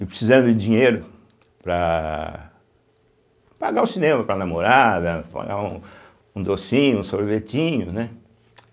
e precisando de dinheiro para pagar o cinema para a namorada, pagar um um docinho, um sorvetinho, né.